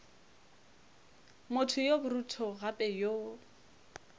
motho yo borutho gape yo